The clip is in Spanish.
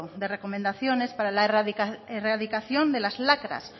de recomendaciones para la erradicación de las lacras